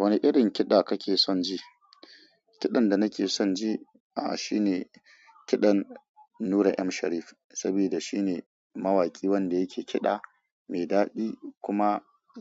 Wane irin kiɗa kake son ji? Kiɗan da nake son ji, a'a shine kiɗan Nura M Sharif, sabida shine mawaki wanda yake kiɗa mai daɗi kuma